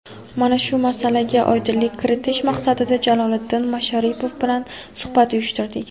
Mana shu masalaga oydinlik kiritish maqsadida Jaloliddin Masharipov bilan suhbat uyushtirdik.